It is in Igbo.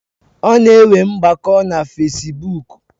Ọ na enwe ngbako na fesibuk